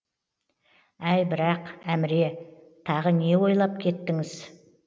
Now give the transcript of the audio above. әй бірақ әміре тағы не ойлап кеттіңіз